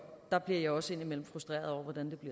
der bliver jeg også indimellem frustreret over hvordan